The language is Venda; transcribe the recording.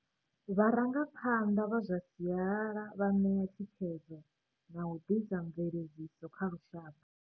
Vharangaphanḓa vha zwa sialala vha ṋea thi khedzo na u ḓisa mveledziso kha lushaka.